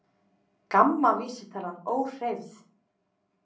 GAMMA vísitalan óhreyfð